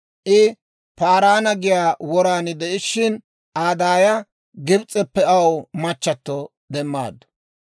I Paaraana giyaa woran de'ishshin, Aa daaya Gibs'eppe aw machchatto demmaaddu.